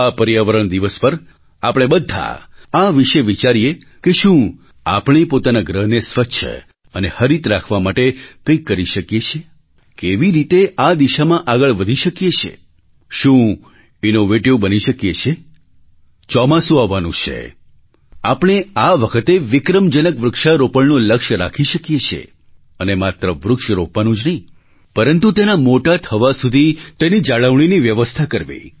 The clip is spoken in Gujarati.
આ પર્યાવરણ દિવસ પર આપણે બધા આ વિશે વિચારીએ કે શું આપણે પોતાના ગ્રહને સ્વચ્છ અને હરિત રાખવા માટે કંઈક કરી શકીએ છીએ કેવી રીતે આ દિશામાં આગળ વધી શકીએ છીએ શું ઇનોવેટિવ બની શકીએ છીએ ચોમાસું આવવાનું છે આપણે આ વખતે વિક્રમજનક વૃક્ષારોપણનું લક્ષ્ય રાખી શકીએ છીએ અને માત્ર વૃક્ષ રોપવાનું જ નહીં પરંતુ તેના મોટા થવા સુધી તેની જાળવણીની વ્યવસ્થા કરવી